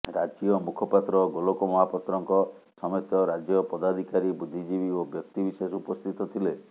ରାଜ୍ୟ ମୁଖପାତ୍ର ଗୋଲକ ମହାପାତ୍ରଙ୍କ ସମେତ ରାଜ୍ୟ ପଦାଧିକାରୀ ବୁଦ୍ଧିଜୀବୀ ଓ ବ୍ୟକ୍ତବିଶେଷ ଉପସ୍ଥିତ ଥିଲେ